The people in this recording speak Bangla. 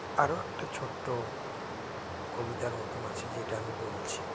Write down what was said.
আরও একটা ছোট্টো কবিতার মতো আছে যেটা আমি বলছি